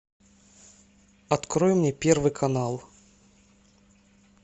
открой мне первый канал